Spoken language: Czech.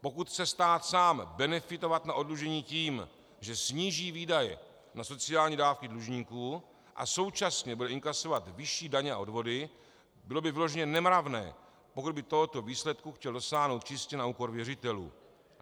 Pokud chce stát sám benefitovat na oddlužení tím, že sníží výdaje na sociální dávky dlužníků a současně bude inkasovat vyšší daně a odvody, bylo by vyloženě nemravné, pokud by tohoto výsledku chtěl dosáhnout čistě na úkor věřitelů.